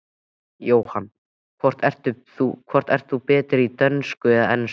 Jóhann: Hvort ert þú betri í dönsku eða ensku?